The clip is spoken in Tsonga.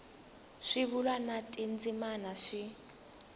swivulwa na tindzimana swi